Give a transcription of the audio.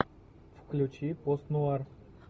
включи пост нуар